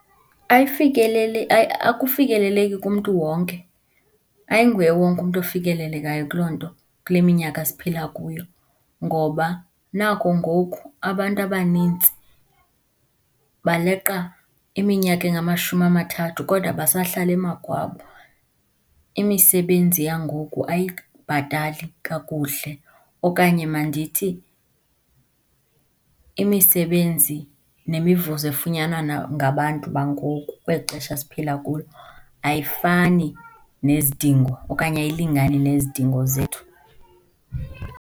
Akufikeleleki kumntu wonke, ayinguye wonke umntu ofikelelekayo kuloo nto kule minyaka siphila kuyo, ngoba naku ngoku abantu abanintsi baleqa iminyaka engamashumi amathathu kodwa basahlala emakwabo. Imisebenzi yangoku ayikubhatali kakuhle okanye mandithi imisebenzi nemivuzo efunyanwa ngabantu bangoku, kweli xesha siphila kulo, ayifani nezidingo okanye ayilingani nezidingo zethu.